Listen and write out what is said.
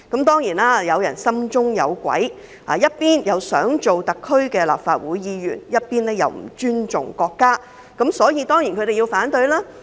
當然，有人心中有鬼，一方面想做特區立法會議員，另一方面又不尊重國家，所以他們才要反對《條例草案》。